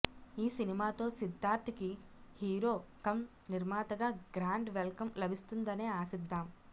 ఈ సినిమాతో సిద్ధార్థ్కి హీరో కం నిర్మాతగా గ్రాండ్ వెల్కం లభిస్తుందనే ఆశిద్దాం